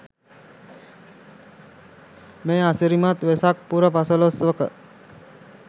මේ අසිරිමත් වෙසක් පුර පසළොස්වක